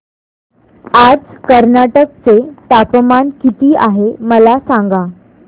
आज कर्नाटक चे तापमान किती आहे मला सांगा